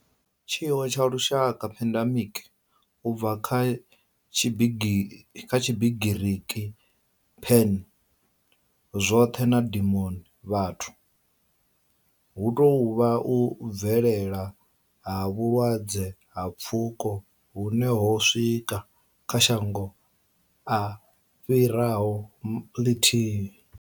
Tshiwo tsha lushaka pandemic, u bva kha Tshigiriki pan, zwoṱhe na demos, vhathu hu tou vha u bvelela ha vhulwadze ha pfuko hune ho swika kha shango a fhiraho ḽithihi.